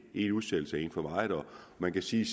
én udsættelse er en for meget og man kan sige